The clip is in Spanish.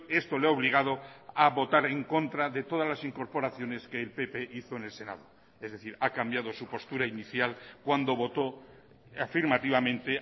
esto le ha obligado a votar en contra de todas las incorporaciones que el pp hizo en el senado es decir ha cambiado su postura inicial cuando votó afirmativamente